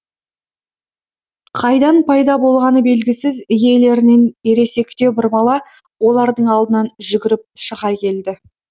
қайдан пайда болғаны белгісіз иелерінен ересектеу бір бала олардың алдынан жүгіріп шыға келді